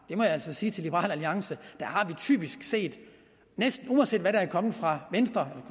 det må jeg altså sige til liberal alliance typisk set at næsten uanset hvad der er kommet fra venstre